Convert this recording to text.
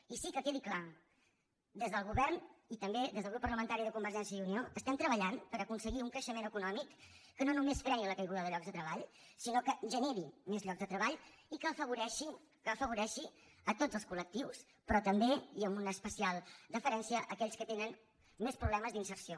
i sí que quedi clar des del govern i també des del grup parlamentari de convergència i unió estem treballant per aconseguir un creixement econòmic que no només freni la caiguda de llocs de treball sinó que generi més llocs de treball i que afavoreixi tots els col·lectius però també i amb una especial deferència aquells que tenen més problemes d’inserció